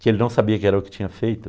que ele não sabia que era o que tinha feito.